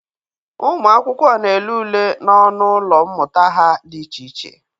Ụmụ akwụkwọ na-ele ule n'ọnụ ụlọ mmụta ha dị iche iche.